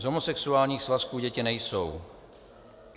Z homosexuálních svazků děti nejsou.